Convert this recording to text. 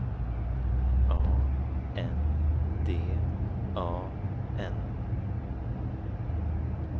A N D A N